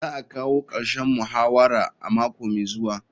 Za a kawo karshen muhawara a mako mai zuwa.